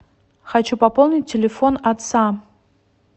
хочу пополнить телефон отца